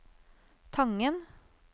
Tangen